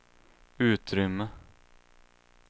utrymme